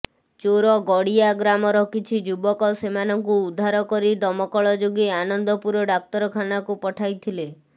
ଚୋରଗଡିଆ ଗ୍ରାମର କିଛି ଯୁବକ ସେମାନଙ୍କୁ ଉଦ୍ଧାର କରି ଦମକଳ ଯୋଗେ ଆନନ୍ଦପୁର ଡାକ୍ତରଖାନାକୁ ପଠାଇଥିଲେ